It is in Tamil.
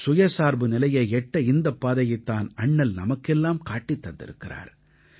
சுயசார்பு நிலையை எட்ட இந்தப் பாதையைத் தான் அண்ணல் நமக்கெல்லாம் காட்டித் தந்திருக்கிறார்